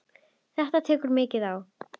Þetta tekur mikið á.